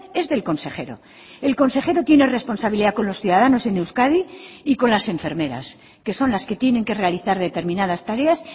es del consejero el consejero tiene responsabilidad con los ciudadanos en euskadi y con las enfermeras que son las que tienen que realizar determinadas tareas